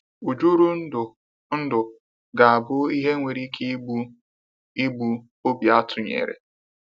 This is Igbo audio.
ỤJỤRỤNDỤ NDỤ ga abụ ihe nwere ike igbu igbu obi atụnyere.